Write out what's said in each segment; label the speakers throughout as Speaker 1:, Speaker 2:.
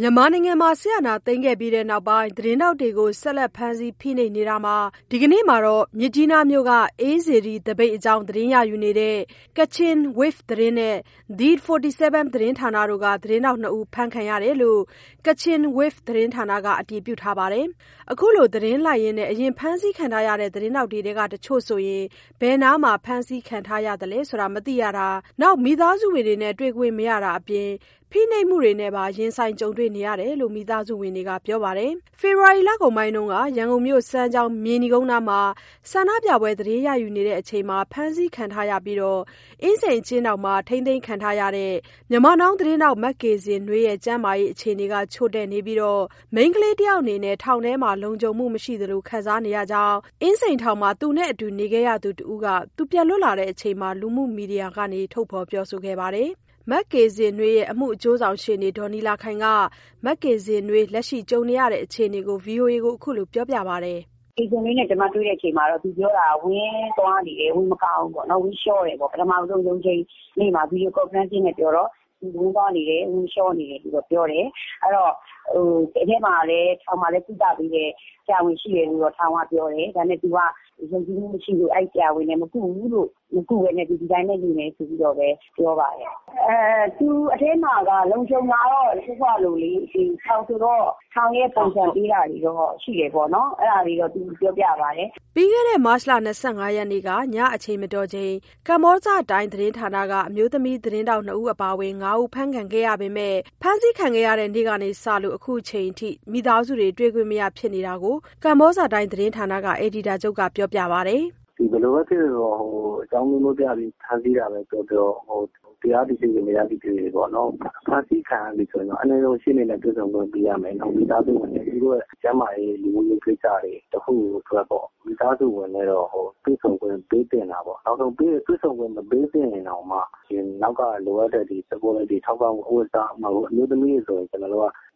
Speaker 1: မြန်မာနိုင်ငံမှာ စစ်အာဏာသိမ်းခဲ့ပြီးနောက်ပိုင်း သတင်းထောက်တွေကို ဆက်လက် ဖမ်းဆီးဖိနှိပ်နေတာမှာ ဒီနေ့ပဲ မြစ်ကြီးနားမြို့က အေးစေတီသပိတ်အကြောင်း သတင်းရယူနေတဲ့ Kachin Waves သတင်းနဲ့ The 74 သတင်းဌာနတွေတို့က သတင်းထောက် နှစ် ယောက်ဖမ်းခံခဲ့ရတယ်လို့ Kachin Waves သတင်းဌာနက အတည်ပြုထားပါတယ်။ ခုလိုသတင်းလိုက်ရင်း အရင် ဖမ်းဆီးခံရတဲ့ သတင်းထောက်တွေထဲက တချို့ဆို ဘယ်နားမှာ ဖမ်းဆီးခံထားရသလဲဆိုတာ မသိရတာ၊ မိသားစုဝင်တွေနဲ့ တွေ့ခွင့် မရတာတွေအပြင်၊ ဖိနှိပ်မှုတွေနဲ့ပါ ရင်ဆိုင်ကြုံနေရတယ်လို့ မိသားစုတွေက ပြောပါတယ်။ ဖေဖော်ဝါရီလကုန်ပိုင်းက ရန်ကုန်မြို့ စမ်းချောင်း၊ မြေနီကုန်းနားမှာ ဆန္ဒပြပွဲသတင်းရယူနေချိန် ဖမ်းဆီးခံခဲ့ရပြီး အင်းစိန်အကျဉ်းထောင်မှာ ထိန်းသိမ်းခံထားရသူ Myanmar Now သတင်းထောက် မကေဇင်နွေးရဲ့ ကျန်းမာရေးအခြေအနေ ချို့တဲ့နေပြီး၊ မိန်းကလေးတယောက်အတွက် ထောင်ထဲမှာ လုံခြုံမှုမရှိသလို ခံစားနေရကြောင်း အင်းစိန်ထောင်မှာ သူနဲ့အတူ နေခဲ့ရသူ တဦးက ပြန်လွတ်လာချိန်မှာ လူမှု မီဒီယာမှာ ထုတ်ဖော်ပြောဆိုခဲ့ပါတယ်။ မကေဇင်နွေးရဲ့ အမှုအကျိုးဆောင် ရှေ့နေဒေါ်နီလာခိုင်က မကေဇင်နွေး လက်ရှိကြုံနေတဲ့ အခြေအနေကို ဗွီအိုအေကို ခုလို ပြောပြပါတယ်။ "ကေဇင်နွေးနဲ့ ကျမတွေ့တဲ့အချိန်မှာ သူပြောတာကတော့ ဝမ်းသွားနေတယ်။ ဝမ်းမကောင်းဘူး။ ဝမ်းလျှောနေတယ်။ ပထမဆုံးရုံးချ
Speaker 2: ိန်းနေ့မှာ video conferencing နဲ့ ပြောတာ။ ထောင်မှာလည်း ကုသပေးတဲ့ ဆရာဝန်ရှိတယ်လို့တော့ ထောင်ကပြောတယ်။ ဒါပေမဲ့ သူက ယုံကြည်မှုမရှိလို့ အဲဒီဆရာဝန်နဲ့ မကုဘူး။ မကုဘဲနဲ့ သူဒီတိုင်းပဲ နေမယ်ဆိုပြီးတော့ ပြောပါတယ်။ သူအထဲမှာတော့ လုံခြုံလားဆိုတော့ စောစောကလိုလေ... ဒီ ထောင်ဆိုတော့ ထောင်ရဲ့ ပုံစံပေးတာတွေတော့ရှိတယ်ပေါ့နော်။ အဲဒါတွေတော့ သူပြောပြပါ
Speaker 1: တယ်။" ပြီးခဲ့တဲ့ မတ် ၂၅ ရက်နေ့ က ညအချိန်မတော်မှာ ကမ္ဘောဇတိုင်းသတင်းဌာနက အမျိုးသမီးသတင်းထောက် နှစ် ဦး အပါအဝင် ၅ ဦး ဖမ်းခံရပေမဲ့ ခုချိန်ထိ ဖမ်းဆီးခံရတဲ့ နေ့ကဒီနေ့ထိ မိသားစုတွေ တွေ့ခွင့်မရဖြစ်နေတာ ကမ္ဘာဇတိုင်းသတင်းဌာနက အယ်ဒီတာ ချုပ်ကပြောပါတယ်။
Speaker 2: "ဘယ်လိုဘဲဖြစ်ဖြစ် အကြောင်းအမျိုးမျိူးပြပြီး ဖမ်းဆီးတယ်ပဲပြောပြော၊ တရားသည်ဖြစ်ဖြစ်၊ မတရားတာဖြစ်ဖြစ် အနည်းဆုံး ရှေ့နေနဲ့ တွေ့ဆုံခွင့်ပေးရမယ်၊ နောက် မိသားစုဝင်တွေ။ သူတို့ရဲ့ ကျန်းမာရေး၊ လူမှုရေးကိစ္စတွေ တခုခုအတွက်ပေါ့... မိသားစုဝင်နဲ့တော့ တွေ့ဆုံခွင့်ပေးသင့်တာပေါ့။ တွေ့ဆုံခွင့်မပေးရင်တောင်မှ နောက်ကလိုအပ်တဲ့ ထောက်ပံ့မှု.... ဥပမာ အဝတ်အစား၊ အမျိုးသမီးတွေဆို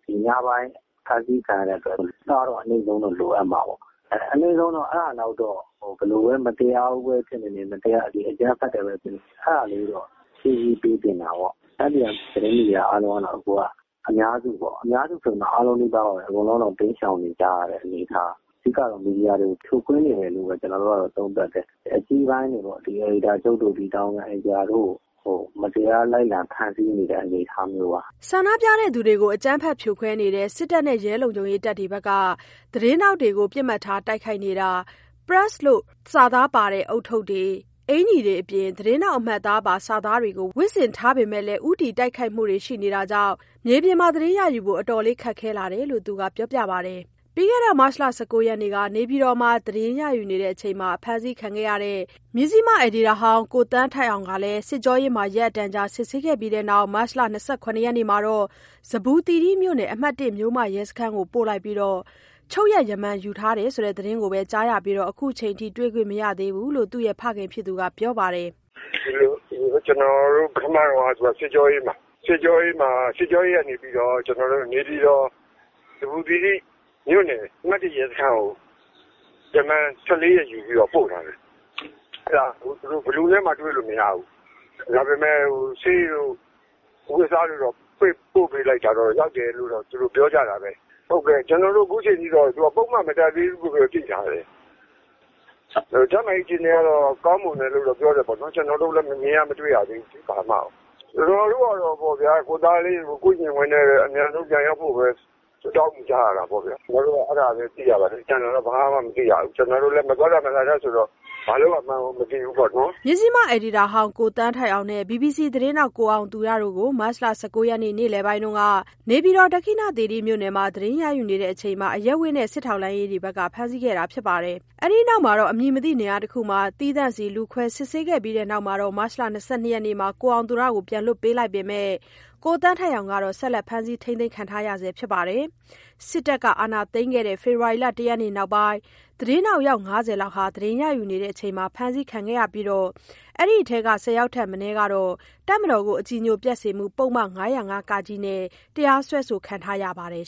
Speaker 2: ရင် ညပိုင်းဖမ်းဆီးခံရတဲ့အတွက် အဝတ်အစားတော့ အနိမ့်ဆုံးလိုအပ်မှာပေါ့။ အနိမ့်ဆုံးတော့အဲ့ဒါလောက်တော့ ဘယ်လိုပဲ မတရားဘူးပဲထင်ထင်၊ အကြမ်းဖက်တယ်ပဲထင်ထင်... အဲဒါလေးတော့ ဖြည့်ဆည်းပေးသင့်တာပေါ့။ သတင်းမီဒီယာအားလုံးကတော့ အခုက အများစုဆိုပေမဲ့အားလုံးနီးပါးပါပဲ... အကုန်လုံးကတော့ တိမ်းရှောင်နေရတဲ့ အနေအထား။ အဓိကကတော့ မီဒီယာကို ဖြိုခွဲနေတယ်လို့ပဲ ကျနော်တို့ကတော့ သုံးသပ်တယ်။ အကြီးပိုင်းတွေပေါ့.. အယ်ဒီတာချုပ်တို့၊ တာဝန်ခံ အယ်ဒီတာတို့ကို မတရားဖမ်းဆီးနေတဲ့ အနေအထားမျိုးပါ။
Speaker 1: " ဆန္ဒပြသူတွေကို အကြမ်းဖက် ဖြိုခွဲနေတဲ့ စစ်တပ်နဲ့ ရဲတပ်ဖွဲ့တွေဘက်က သတင်းထောက်တွေကို ပစ်မှတ်ထား တိုက်ခိုက်နေတာမှာ Press လို့ စာသားပါတဲ့ ဦးထုပ်၊ အင်္ကျီတွေအပြင် သတင်းထောက် အမှတ်အသားပါ စာသားတွေ ဝတ်ဆင်ထားရက်နဲ့ ဦးတည် တိုက်ခိုက်မှုတွေ ရှိနေတာကြောင့် မြေပြင်သတင်းရယူဖို့ အတော်လေးခက်ခဲလာတယ်လို့သူက ပြောပါတယ်။ ပြီးခဲ့တဲ့ မတ် ၁၉ ရက်နေ့က နေပြည်တော်မှာ သတင်းရယူချိန် အဖမ်းခံခဲ့ရတဲ့ နေပြည်တော်အခြေစိုက် မဇ္ဈိမသတင်းထောက် ကိုသန်းထိုက်အောင်ဆိုလည်း စစ်ကြောရေးမှာ ရက်အတန်ကြာ စစ်ဆေးပြီးတဲ့နောက်၊ မတ် ၂၇ ရက်နေ့မှာ ဇမ္ဗူသီရိမြို့နယ် အမှတ် (၁) မြို့မရဲစခန်းကို ပို့လိုက်ပြီး ရမ္မာန်ယူ ထပ်ချုပ်လိုက်တယ်ဆိုတဲ့ သတင်းသာကြားရပြီး ခုချိန်ထိ တွေ့ခွင့်မရသေးဘူးလို့ သူ့ဖခင်ကပြောပါတယ်
Speaker 3: ။ "ပထမတုန်းက သူကစစ်ကြောရေးမှာ။ စစ်ကြောရေးကနေပြီးတော့ နေပြည်တော် ဇမ္ဘူသီရိမြို့နယ် အမှတ် ၁ ရဲစခန်းကို ရမ္မာန် ၁၄ ရက်ယူပြီး ပို့ပါတယ်။ အဲဒါ ဘယ်သူနဲ့မှ တွေ့ခွင့်မရဘူး။ ဒါပေမဲ့ ဆေးတို့၊ အဝတ်အစားတွေတော့ ပို့ပေးလိုက်တာတော့ သူတို့ရောက်တယ်လို့တော့ ပြောကြတာပဲ။ အခုအချိန်ထိတော့ ပုဒ်မ မတပ်သေးဘူးလို့တော့ သိထားတယ်။ ကျန်းမာရေးအခြေအနေကတော့ ကောင်းမွန်တယ်လို့တော့ ပြောတယ်ပေါ့နော်။ ကျနော်တို့လည်း မမြင်ရမတွေ့ရသေးဘူးလေ။ ကျနော်တို့ကတော့ ကိုယ့်သားလေးကို ကိုယ့်ရင်ခွင်ထဲပဲ အမြဲတမ်း တောင်းဆိုကြရတာပေါ့ဗျ။ အဲဒါပဲ သိရပါတယ်။ ကျန်တာတော့ ဘာမှ မသိရဘူး။ ကျနော်တို့လည်း မသွားတတ်၊ မလာတတ်ဆိုတော့ ဘာလုပ်ရမှန်းကို မသိဘူးပေါ့နော်။" မ
Speaker 1: ဇ္ဈိမအယ်ဒီတာဟောင်း ကိုသန်းထိုက်အောင်နဲ့ BBC သတင်းထောက် ကိုအောင်သူရ တို့ကို မတ် ၁၉ ရက် နေ့လယ်ပိုင်းက နေပြည်တော် ဒက္ခိဏသီရိမြို့နယ်မှာ သတင်းလိုက်နေစဉ် အရပ်ဝတ်နဲ့ စစ်ထောက်လှန်းရေးတွေက ဖမ်းဆီးခဲ့တာ ဖြစ်ပါတယ်။ အဲဒီနောက် အမည်မသိ နေရာတစ်ခုမှာ သီးသန့်စီ လူခွဲစစ်ဆေးခဲ့ပြီးတဲ့နောက် မတ်လ ၂၂ ရက်နေ့မှာ ကိုအောင်သူရကို ပြန်လွှတ်ပေးလိုက်ပေမဲ့ ကိုသန်းထိုက်အောင်ကို ဆက်လက်ဖမ်းဆီးထားတာပါ။ စစ်တပ်အာဏာသိမ်းခဲ့တဲ့ ဖေဖော်ဝါရီလ ၁ ရက်နေ့နောက်ပိုင်း သတင်းထောက် ၅၀ လောက် သတင်းရယူနေချိန်မှာ ဖမ်းဆီးခံခဲ့ရပြီး အဲဒီထဲက ၁၀ ယောက်ထက် မနည်းကတော့ တပ်မတော်ကို အကြည်ညိုပျက်စေမှု ပုဒ်မ ၅၀၅ (က) နဲ့ တရားစွဲခံထားရပါတယ်